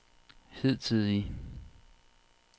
hidtidige